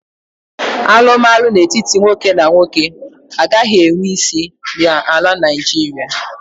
Alụmalụ n'etiti nwoke na nwoke agaghị enwe isi na ala Naijiria.